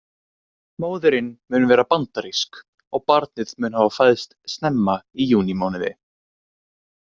Móðirin mun vera bandarísk og barnið mun hafa fæðst snemma í júní mánuði.